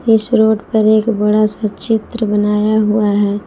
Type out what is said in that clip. इस रोड पर एक बड़ा सा चित्र बनाया हुआ है।